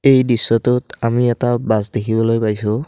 এই দৃশ্যটোত আমি এটা বাছ দেখিবলৈ পাইছোঁ।